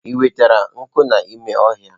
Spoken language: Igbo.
Ị nwetara nkụ n'ime ọhịa?